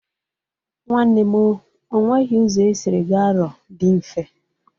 Nwanne m o, o nweghi ụzọ esiri ga Arọ dị mfe.